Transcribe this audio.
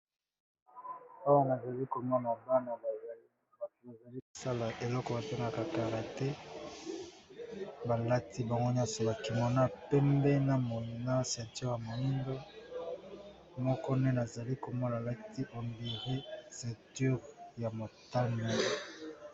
Awa nazali komwaa bana bazali kosala eloko batenaka kara te balati bango nyonsi bakimona pembe na moina cinture ya moingo moko nde nazali komona lati ombire sinture ya motania.